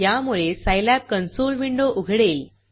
यामुळे Scilab console window उघडेल